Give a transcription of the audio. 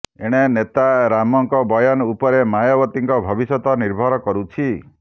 ଏଣେ ନେତା ରାମଙ୍କ ବୟାନ ଉପରେ ମାୟାବତୀଙ୍କ ଭବିଷ୍ୟତ ନିର୍ଭର କରୁଛି